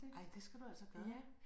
Ej det skal du altså gøre